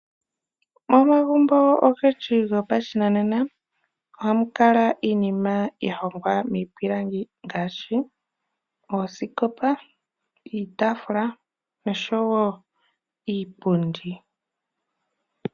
Omagumbo ogendji gopashinanena ohamu kala iinima ya hongwa miipilangi ngaashi, oosikopa, iitaafula oshowo iipundi.